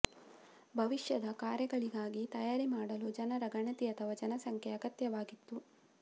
ಭವಿಷ್ಯದ ಕಾರ್ಯಗಳಿಗಾಗಿ ತಯಾರಿ ಮಾಡಲು ಜನರ ಗಣತಿ ಅಥವಾ ಜನಸಂಖ್ಯೆ ಅಗತ್ಯವಾಗಿತ್ತು